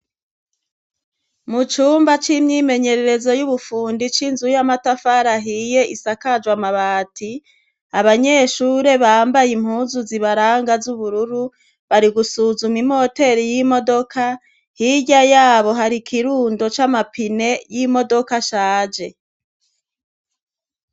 Mucumba c'imyimenyerezo y'ubufundi c'inzu y'amatafari ahiye isakajwe amabati, abanyeshure bambaye impuzu zibaranga z'ubururu bari gusuzuma imoteri y'imodoka, hirya yaho hari ikirundo c'amapine n'imodoka ashaje.